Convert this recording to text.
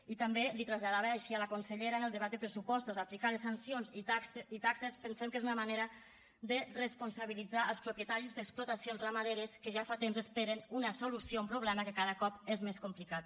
i també l’hi traslladava així a la consellera en el debat de pressupostos aplicar les sancions i taxes pensem que és una manera de responsabilitzar els propietaris d’explotacions ramaderes que ja fa temps que esperen una solució a un problema que cada cop és més complicat